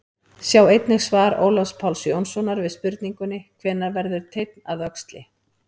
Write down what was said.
Sjá einnig svar Ólafs Páls Jónssonar við spurningunni Hvenær verður teinn að öxli?